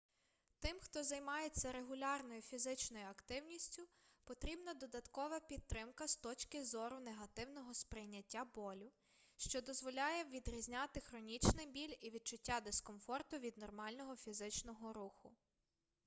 тим хто займається регулярною фізичною активністю потрібна додаткова підтримка з точки зору негативного сприйняття болю що дозволяє відрізняти хронічний біль і відчуття дискомфорту від нормального фізичного руху